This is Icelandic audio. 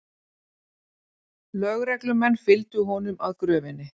Lögreglumenn fylgdu honum að gröfinni